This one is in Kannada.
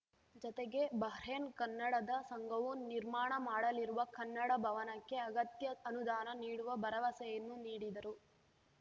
ಜತೆಗೆ ಬಹ್ರೇನ್‌ ಕನ್ನಡದ ಸಂಘವು ನಿರ್ಮಾಣ ಮಾಡಲಿರುವ ಕನ್ನಡ ಭವನಕ್ಕೆ ಅಗತ್ಯ ಅನುದಾನ ನೀಡುವ ಭರವಸೆಯನ್ನು ನೀಡಿದರು